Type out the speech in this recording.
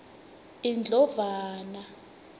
indlovana